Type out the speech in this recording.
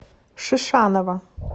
шишанова